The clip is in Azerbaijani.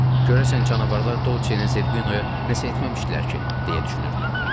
Görəsən canavarlar Dolçeə Zerbinoya nəsə etməmişdilər ki, deyə düşünürdüm.